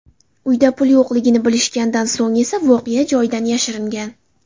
Uyda pul yo‘qligini bilishgandan so‘ng esa voqea joyidan yashiringan.